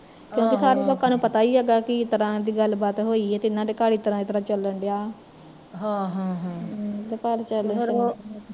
ਕਿਉਕਿ ਸਾਰੇ ਲੋਕਾਂ ਨੂੰ ਪਤਾ ਈ ਹੈਗਾ ਕਿਸ ਤਰਾਂ ਦੀ ਗੱਲ ਬਾਤ ਹੋਈ ਆ ਤੇ ਏਹਨਾ ਦੇ ਘਰ ਇਸਤਰਾਂ ਇਸਤਰਾਂ ਚੱਲਣ ਡਿਆ